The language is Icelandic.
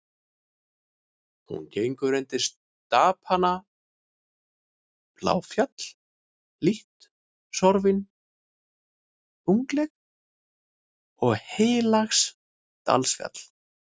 Hún gengur undir stapana Bláfjall, lítt sorfið og unglegt, og Heilagsdalsfjall.